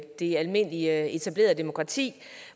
det almindelige etablerede demokrati